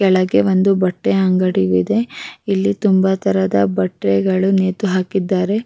ಕೆಳಗೆ ಒಂದು ಬಟ್ಟೆ ಅಂಗಡಿ ಇದೆ ಇಲ್ಲಿ ತುಂಬಾ ತರದ ಬಟ್ಟ್ಟೆ ಗಳು ನೇತು ಹಾಕಿದ್ದಾರೆ.